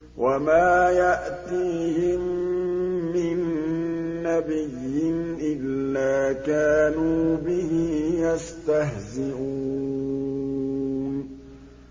وَمَا يَأْتِيهِم مِّن نَّبِيٍّ إِلَّا كَانُوا بِهِ يَسْتَهْزِئُونَ